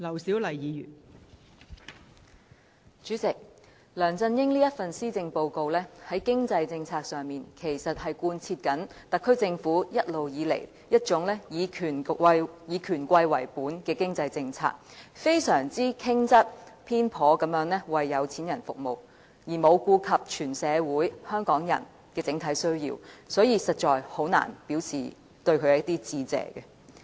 代理主席，梁振英這份施政報告在經濟政策上，其實是貫徹特區政府一直以權貴為本的經濟政策，非常傾側、偏頗地為有錢人服務，而沒有顧及全社會、香港人的整體需要，所以我實在難以向他致謝。